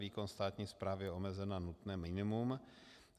Výkon státní správy je omezen na nutné minimum.